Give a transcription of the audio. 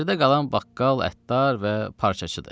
Yerdə qalan baqqal, əttar və parçacıdır.